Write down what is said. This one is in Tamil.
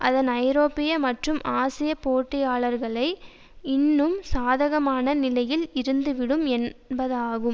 அதன் ஐரோப்பிய மற்றும் ஆசிய போட்டியாளர்களை இன்னும் சாதகமான நிலையில் இருந்துவிடும் என்பதாகும்